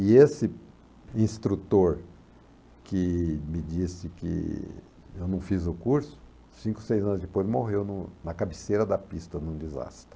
E esse instrutor que me disse que eu não fiz o curso, cinco, seis anos depois morreu no na cabeceira da pista, num desastre.